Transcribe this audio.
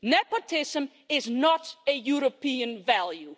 Nepotism is not a European value.